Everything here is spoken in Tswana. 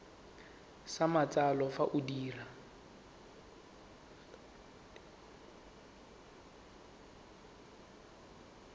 sa matsalo fa o dira